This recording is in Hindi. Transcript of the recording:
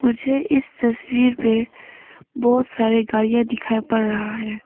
मुझे इस तस्वीर में बहोत सारे गाड़ियां दिखाई पड़ रहा है।